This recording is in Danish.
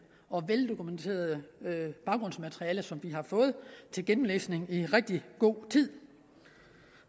og veldokumenterede baggrundsmateriale som vi har fået til gennemlæsning i rigtig god tid